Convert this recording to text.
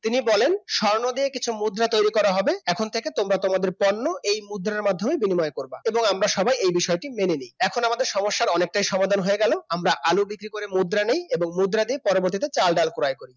তিনি বলেন স্বর্ণ দিয়ে কিছু মুদ্রা তৈরি করা হবে এখন থেকে তোমরা তোমাদের পণ্য এই মুদ্রার মাধ্যমে বিনিময় করবা, এবং আমরা সবাই এই বিষয়টি মেনে নিই এখন আমাদের সমস্যার অনেকটাই সমাধান হয়ে গেল আমরা আলু বিক্রি করে মুদ্রা নিই এবং মুদ্রা দিয়ে পরবর্তীতে চাল, ডাল ক্রয় করি